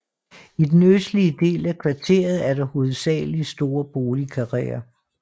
I den østlige del af kvarteret er der hovedsagelig store boligkarreer